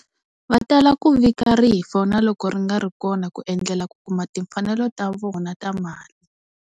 Va tala ku vika rifu na loko ri nga ri kona ku endlela ku kuma timfanelo ta vona ta mali.